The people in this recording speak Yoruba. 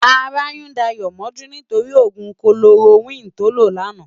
Àrá yún Dayo mòjú nitóri ógún kólórókwin tó ló làná